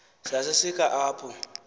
sase sisakha apho